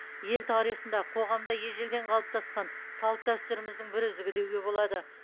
ел тарихында қоғамда ежелден қалыптасқан салт дәстүріміздің бір үзігі деуге болады